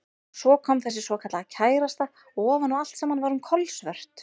Og svo kom þessi svokallaða kærasta og ofan á allt saman var hún kolsvört.